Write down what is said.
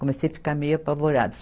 Comecei ficar meio apavorada.